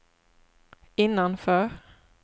innanför